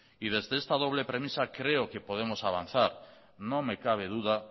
desde esta doble premisa creo que podemos avanzar no me cabe duda